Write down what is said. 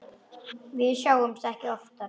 Við sjáumst ekki oftar.